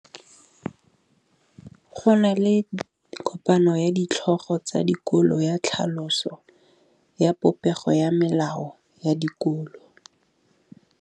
Go na le kopanô ya ditlhogo tsa dikolo ya tlhaloso ya popêgô ya melao ya dikolo.